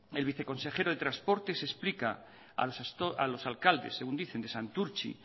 el viceconsejero de transporte se explica a los alcaldes según dicen de santurtzi